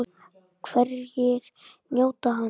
Hverjir njóta hans?